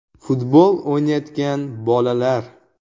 Futbol o‘ynayotgan bolalar.